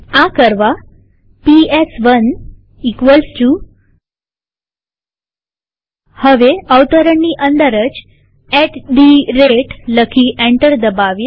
આ કરવા પીએસ1 હવે અવતરણની અંદર જ એટી થે રતે લખી એન્ટર દબાવીએ